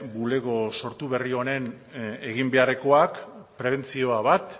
bulego sortu berri honen eginbeharrekoak prebentzioa bat